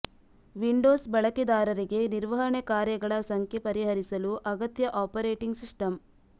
Windows ಬಳಕೆದಾರರಿಗೆ ನಿರ್ವಹಣೆ ಕಾರ್ಯಗಳ ಸಂಖ್ಯೆ ಪರಿಹರಿಸಲು ಅಗತ್ಯ ಆಪರೇಟಿಂಗ್ ಸಿಸ್ಟಮ್